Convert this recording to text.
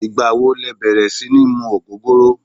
Igba wo lẹ bẹrẹ si ni mu ogogoro?